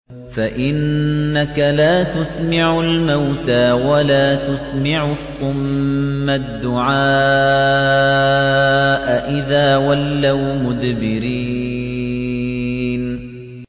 فَإِنَّكَ لَا تُسْمِعُ الْمَوْتَىٰ وَلَا تُسْمِعُ الصُّمَّ الدُّعَاءَ إِذَا وَلَّوْا مُدْبِرِينَ